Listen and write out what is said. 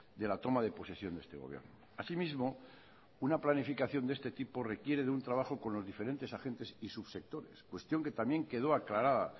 de la toma de posesión de este gobierno así mismo una planificación de este tipo requiere de un trabajo con los diferentes agentes y subsectores cuestión que también quedó aclarada